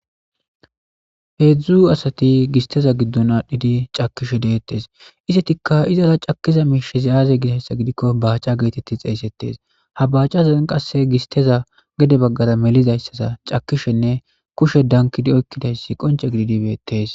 peedzdzu asati gisteza giddon aadhdhidi cakishe deettes isetikka izara cakiza miishizi aaze gidayssa gidikko baaca geetetti xeeysettes ha baacazan qasse gisteza gede baggara melizayssaza cakishenne kushe dankidi oykkidayssi qonce gididibeettes